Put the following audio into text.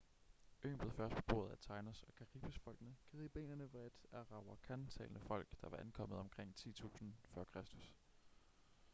øen blev først beboet af taínos- og caribes-folkene. cariberne var et arawakan-talende folk der var ankommet omkring 10.000 f.kr